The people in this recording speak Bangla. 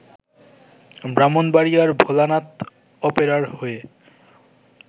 ব্রাহ্মণবাড়িয়ার ভোলানাথ অপেরার হয়ে